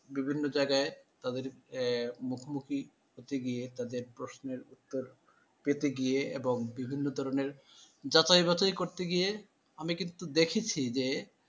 বিভিন্ন জায়গায় তাদের আহ মুখোমুখি হতে গিয়ে তাদের প্রশ্নের উত্তর দিতে গিয়ে এবং বিভিন্ন ধরনের যাচাই বাছাই করতে গিয়ে আমি কিন্তু দেখেছি যে,